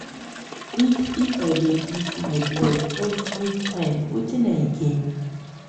if if i dey beef my blood everytime wetin i gain?